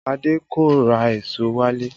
Adé kò ra èso wálé